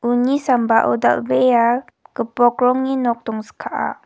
uni sambao dal·bea gipok rongni nok dongskaa.